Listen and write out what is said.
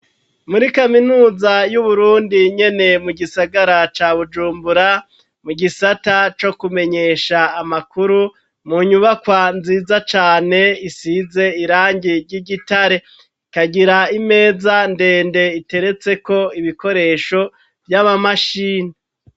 Muri kaminuza y'Uburundi nyene mu gisagara ca Bujumbura ,mu gisata co kumenyesha amakuru ,mu nyubakwa nziza cane isize irangi ry'igitare, ikagira imeza ndende iteretseko ibikoresho vy'amamashini.